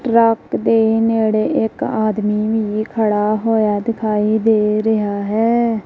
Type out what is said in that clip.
Truck ਦੇ ਨੇੜੇ ਇੱਕ ਆਦਮੀ ਵੀ ਖੜਾ ਹੋਇਆ ਦਿਖਾਈ ਦੇ ਰਿਹਾ ਹੈ।